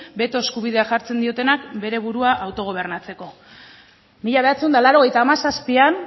beto eskubidea jartzen diotenak bere burua autogobernatzeko mila bederatziehun eta laurogeita hamazazpian